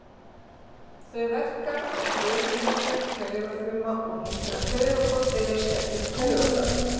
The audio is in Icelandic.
Þau verka á frumuhimnur taugafruma og hindra að taugaboð berist eftir taugaþráðum.